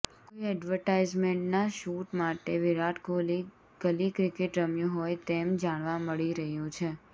કોઈ એડવર્ટાઈઝમેન્ટનાં શૂટ માટે વિરાટ કોહલી ગલી ક્રિકેટ રમ્યો હોય તેમ જાણવા મળી રહ્યું છે